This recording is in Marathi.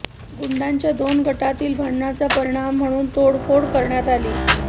गुंडांच्या दोन गटांतील भांडणाचा परिणाम म्हणून तोडफोड करण्यात आली